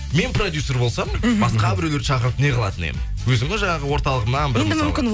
мен продюсер болсам мхм басқа біреулерді шақырып не қылатын едім өзімнің жаңағы орталығымнан бір мысалы